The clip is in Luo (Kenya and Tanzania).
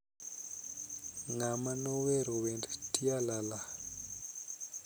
ng'ama nowero wend tialala